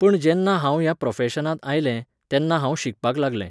पण जेन्ना हांव ह्या प्रफॅशनांत आयलें, तेन्ना हांव शिकपाक लागलें.